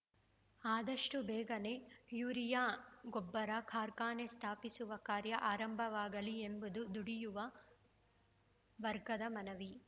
ಆದಷ್ಟುಬೇಗನೆ urea ಗೊಬ್ಬರ ಕಾರ್ಖಾನೆ ಸ್ಥಾಪಿಸುವ ಕಾರ್ಯ ಆರಂಭವಾಗಲಿ ಎಂಬುದು ದುಡಿಯುವ ವರ್ಗದ ಮನವಿ